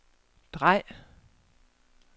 drej